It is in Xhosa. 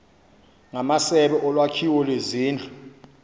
ngamasebe olwakhiwo lwezindlu